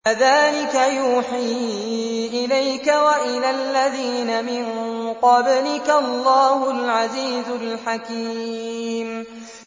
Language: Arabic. كَذَٰلِكَ يُوحِي إِلَيْكَ وَإِلَى الَّذِينَ مِن قَبْلِكَ اللَّهُ الْعَزِيزُ الْحَكِيمُ